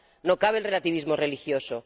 no cabe el relativismo religioso